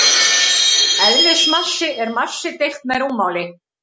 Eðlismassi er massi deilt með rúmmáli.